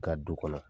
Ka du kɔnɔ